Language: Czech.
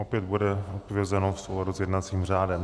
Opět bude odpovězeno v souladu s jednacím řádem.